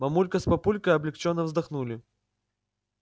мамулька с папулькой облегчённо вздохнули